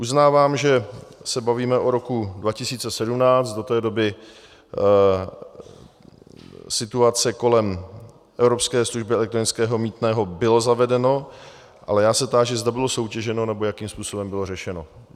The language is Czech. Uznávám, že se bavíme o roku 2017, do té doby situace kolem evropské služby elektronického mýtného, bylo zavedeno, ale já se táži, zda bylo soutěženo nebo jakým způsobem bylo řešeno.